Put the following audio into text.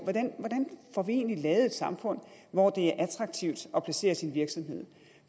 hvordan får vi egentlig lavet et samfund hvor det er attraktivt at placere sin virksomhed